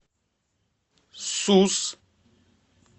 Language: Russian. сус